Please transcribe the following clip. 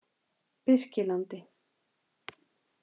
Birkilandi